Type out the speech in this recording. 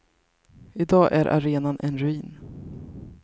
I dag är arenan en ruin.